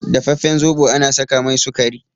Dafafen zobo ana saka mai sukari